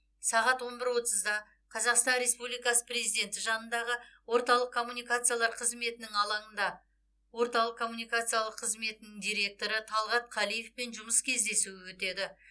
сағат он бір отызда қазақстан республикасы президенті жанындағы орталық коммуникациялар қызметінің алаңында орталық коммуникациялар қызметінің директоры талғат қалиевпен жұмыс кездесуі өтеді